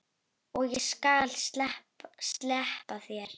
Og ég skal sleppa þér!